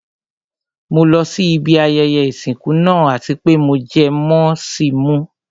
Mo lọ sí ibi ayẹyẹ ìsìnkú náà àti pé mo jẹ mọ́ sì mú.